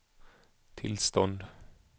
tillstånd